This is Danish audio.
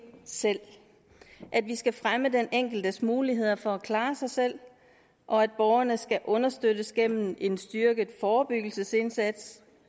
selv at vi skal fremme den enkeltes muligheder for at klare sig selv og at borgerne skal understøttes gennem en styrket forebyggelsesindsats